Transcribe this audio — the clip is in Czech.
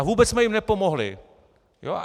A vůbec jsme jim nepomohli!